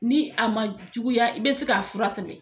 Ni a ma juguya i be se k'a fura sɛbɛn